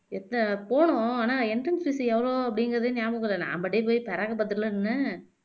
எத்தன போனோம் ஆனா entrance fees எவ்ளோ அப்படிங்கிறதே நியாபகம் இல்லை நா பாட்டுக்கு போயி பிராக்கு பாத்துட்டுல நின்னேன்